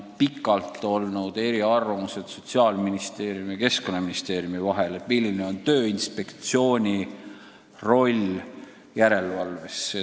Päris kaua on Sotsiaalministeeriumi ja Keskkonnaministeeriumi vahel valitsenud eriarvamused, milline on Tööinspektsiooni roll järelevalves.